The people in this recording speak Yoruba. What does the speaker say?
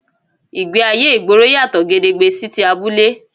Ìgbéayé ìgboro yàtọ̀ gedegbe sí ti abúlé